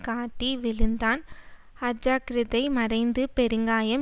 காட்டி விழுந்தான் அஜாக்கிரதை மறைந்து பெருங்காயம்